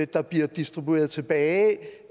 der bliver distribueret tilbage